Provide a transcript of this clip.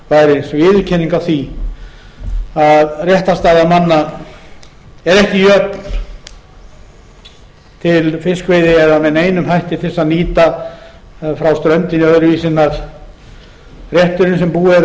væri viðurkenning á því að réttarstaða manna er ekki jöfn til fiskveiði eða með neinum hætti til að nýta frá ströndinni öðruvísi en rétturinn sem búið er að úthluta